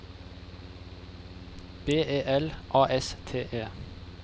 B E L A S T E